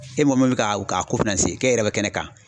E mɔgɔ min bɛ ka k'a ko k'e yɛrɛ bɛ kɛnɛ kan.